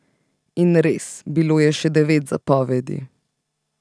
In res, bilo je še devet zapovedi.